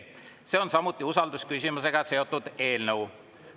See on samuti usaldusküsimusega seotud eelnõu.